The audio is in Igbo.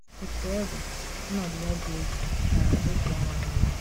Otú ọ dị, ọnọdụ ya dị egwu gara otu ọnwa niile.